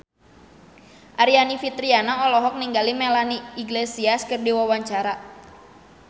Aryani Fitriana olohok ningali Melanie Iglesias keur diwawancara